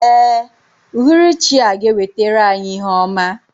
Ee, uhuruchi a ga-ewetara anyị ihe ọma.